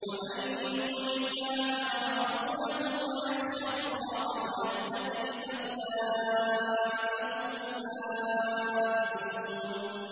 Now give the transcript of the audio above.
وَمَن يُطِعِ اللَّهَ وَرَسُولَهُ وَيَخْشَ اللَّهَ وَيَتَّقْهِ فَأُولَٰئِكَ هُمُ الْفَائِزُونَ